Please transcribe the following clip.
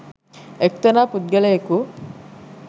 එක්තරා පුද්ගලයෙකු